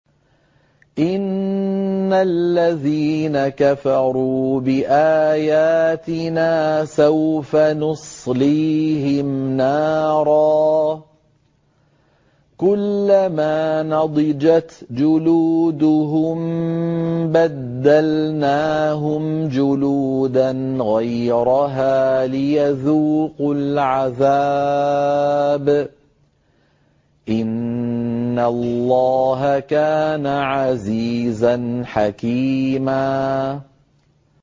إِنَّ الَّذِينَ كَفَرُوا بِآيَاتِنَا سَوْفَ نُصْلِيهِمْ نَارًا كُلَّمَا نَضِجَتْ جُلُودُهُم بَدَّلْنَاهُمْ جُلُودًا غَيْرَهَا لِيَذُوقُوا الْعَذَابَ ۗ إِنَّ اللَّهَ كَانَ عَزِيزًا حَكِيمًا